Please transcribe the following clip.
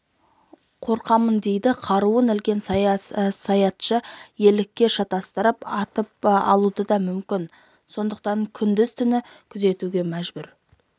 қорқамын дейді қаруын ілген саятшы елікке шатастырып атып алуы да мүмкін сондықтан күндіз-түні күзетуге мәжбүр